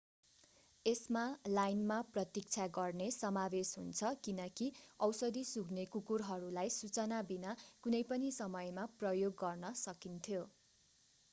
यसमा लाइनमा प्रतीक्षा गर्ने समावेश हुन्छ किनकि औषधि-सुँघ्ने कुकुरहरूलाई सूचना बिना कुनै पनि समयमा प्रयोग गर्न सकिन्थ्यो